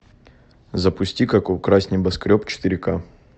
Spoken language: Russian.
запусти как украсть небоскреб четыре к